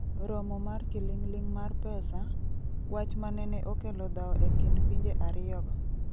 romo mar kiling'ling' mar pesa, wach manene okelo dhawo e kind pinje ariyo go